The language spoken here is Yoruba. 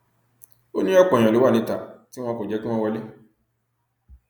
ó ní ọpọ èèyàn ló wà níta tí wọn kò jẹ kí wọn wọlé